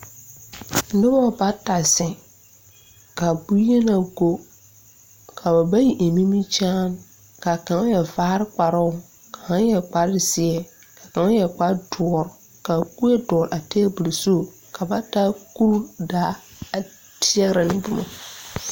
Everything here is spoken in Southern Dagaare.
Nobɔ bata zeŋ kaa bonyenaa go kaa ba bayi eŋ nimikyaane kaa kaŋ yɛre vaare kparoo ka kaŋ yɛre kparezeɛ kaŋ yɛre kpardoɔre ka kuee dɔɔle a tabol zu ka ba taa kuro daa a teɛrɛ ne boma.